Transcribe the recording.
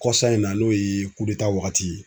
Kɔsa in na n'o ye wagati ye.